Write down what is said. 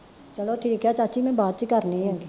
ਚਲੋ ਠੀਕ ਆ ਚਾਚੀ ਮੈਂ ਬਾਅਦ ਚ ਕਰਨੀ ਆਂ ਗੀ